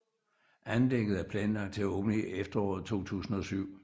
Anlægget er planlagt til at åbne i efteråret 2007